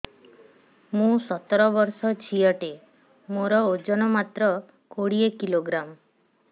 ମୁଁ ସତର ବର୍ଷ ଝିଅ ଟେ ମୋର ଓଜନ ମାତ୍ର କୋଡ଼ିଏ କିଲୋଗ୍ରାମ